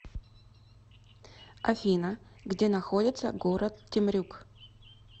афина где находится город темрюк